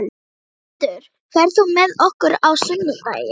Jörmundur, ferð þú með okkur á sunnudaginn?